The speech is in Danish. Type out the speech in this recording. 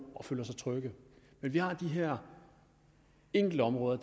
og føler sig trygge men vi har de her enkeltområder